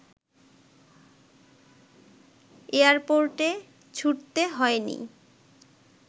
এয়ারপোর্টে ছুটতে হয় নি